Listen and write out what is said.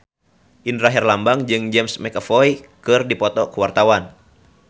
Indra Herlambang jeung James McAvoy keur dipoto ku wartawan